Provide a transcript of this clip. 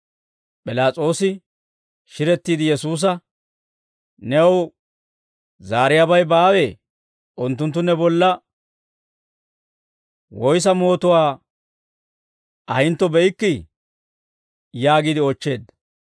P'ilaas'oosi shirettiide Yesuusa, «New zaariyaabay baawee? Unttunttu ne bolla woyissa mootuwaa ahintto be'ikkii?» yaagiide oochcheedda.